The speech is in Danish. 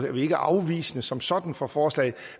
at vi ikke er afvisende som sådan over for forslaget